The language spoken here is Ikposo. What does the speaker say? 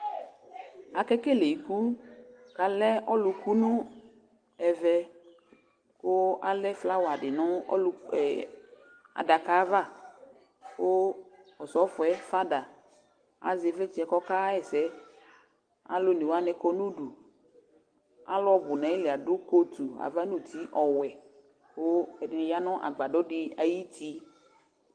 Akekele iku k'allɛ ɔlʋku nʋ ɛvɛ kʋ alɛ flowerdɩ nʋ adaka yɛ ava kʋ Osɔfo yɛ father azɛ ɩvlɩtsɛ k'ɔkaɣɛsɛ Alʋ onewanɩ kɔ nʋ udu, alʋ nʋ n'ayili adʋ coatu ava n'uti ɔwɛ kʋ ɛdɩnɩ ya nʋ agbadɔdɩ ayuti